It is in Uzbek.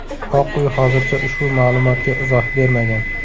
Oq uy hozircha ushbu ma’lumotga izoh bermagan.